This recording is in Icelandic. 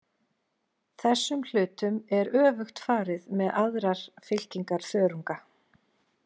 Þessum hlutum er öfugt farið með aðrar fylkingar þörunga.